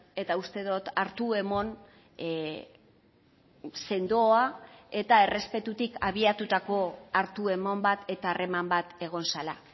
eta uste dut hartu eman sendoa eta errespetutik abiatutako hartu eman bat eta harreman bat egon zela